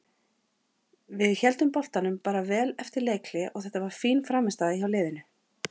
Við héldum boltanum bara vel eftir leikhlé og þetta var fín frammistaða hjá liðinu.